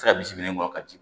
bisimila ka di